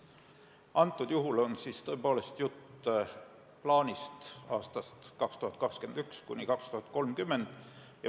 Antud juhul on jutt plaanist aastateks 2021–2030.